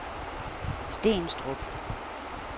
Stenstrup